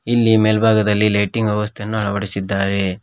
ಇಲ್ಲಿ ಮೆಲ್ಬಾಗದಲ್ಲಿ ಲೈಟಿಂಗ್ ವ್ಯವಸ್ಥೆ ಅನ್ನು ಅಳವಡಿಸಿದ್ದಾರೆ.